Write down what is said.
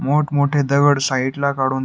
मोठ मोठे दगड साइड ला काढून --